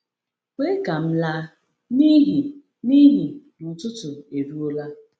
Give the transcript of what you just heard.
“Kwe ka m laa, n’ihi n’ihi na ụtụtụ eruola.”